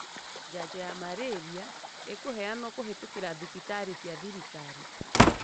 janjo ya malaria ĩkuheanwo kũhĩtũkĩra thĩbitarĩ cia thirikali.